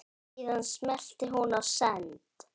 Síðan smellti hún á send.